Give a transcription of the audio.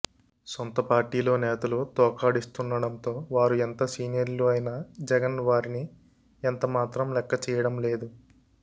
సొంత పార్టీలో నేతలు తోకాడిస్తుండడంతో వారు ఎంత సీనియర్లు అయినా జగన్ వారిని ఎంత మాత్రం లెక్క చేయడం లేదు